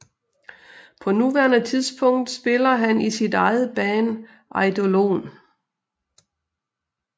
På nuværende tidspunkt spiller han i sit eget band Eidolon